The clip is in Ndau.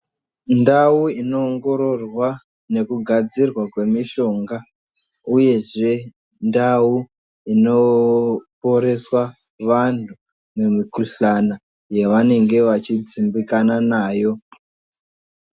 Ndau inoongororwa nekugadzirwa kwemishonga uyezve ndau inoporeswa vanhu mikuhlana yavanenge vachidzimbikana nayo.